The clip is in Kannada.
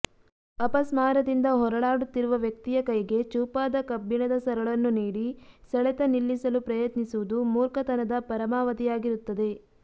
ಅಪಸ್ಮಾರದಿಂದ ಹೊರಳಾಡುತ್ತಿರುವ ವ್ಯಕ್ತಿಯ ಕೈಗೆ ಚೂಪಾದ ಕಬ್ಬಿಣದ ಸರಳನ್ನು ನೀಡಿ ಸೆಳತ ನಿಲ್ಲಿಸಲು ಪ್ರಯತ್ನಿಸುವುದು ಮೂರ್ಖತನದ ಪರಾಮಾವಧಿಯಾಗಿರುತ್ತದೆ